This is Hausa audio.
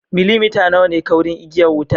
Millimita nawa ne kaurin igiya wutar?